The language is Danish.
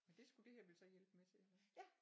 Men det skulle det her vel så hjælpe med til så